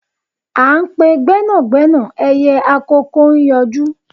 À n pe gbẹ́nàgbẹ́nà ẹyẹ àkòko n yọjú